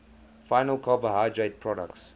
final carbohydrate products